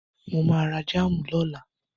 Mo ma ra jáàmù lọ́la